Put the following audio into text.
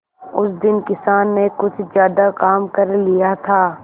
उस दिन किसान ने कुछ ज्यादा काम कर लिया था